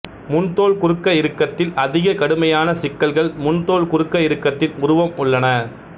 முன்தோல் குறுக்க இறுக்கத்தில் அதிக கடுமையான சிக்கல்கள் முன்தோல் குறுக்க இறுக்கத்தின் உருவம் உள்ளன